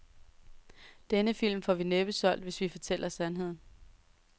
Denne film får vi næppe solgt, hvis vi fortæller sandheden.